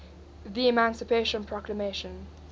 the emancipation proclamation